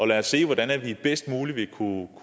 lad os se hvordan vi bedst muligt kan